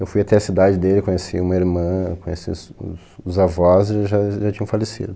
Eu fui até a cidade dele, conheci uma irmã, conheci os os avós eles já já tinham falecido.